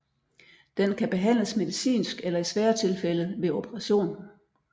Den kan behandles medicinsk eller i svære tilfælde ved operation